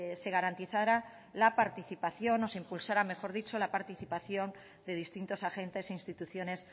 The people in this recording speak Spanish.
se impulsara la participación de distintos agentes instituciones